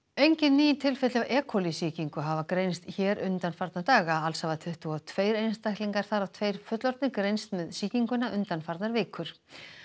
engin ný tilfelli af e coli sýkingu hafa greinst hér undanfarna daga alls hafa tuttugu og tveir einstaklingar þar af tveir fullorðnir greinst með sýkinguna undanfarnar vikur